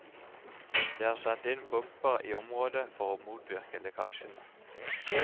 Det er satt inn pumper i området for å motvirke lekkasjene.